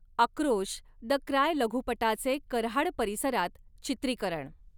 आक्रोश the cry लघुपटाचे कऱ्हाड परिसरात चित्रीकरण